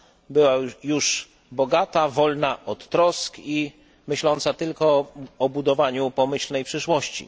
była już bogata, wolna od trosk i myśląca tylko o budowaniu pomyślnej przyszłości.